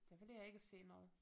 Der ville jeg ikke se noget